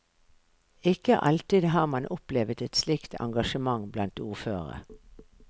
Ikke alltid har man opplevet et slikt engasjement blant ordførere.